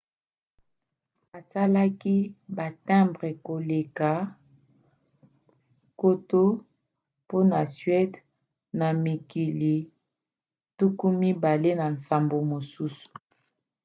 asalaki batimbre koleka 1 000 mpona suède na mikili 28 mosusu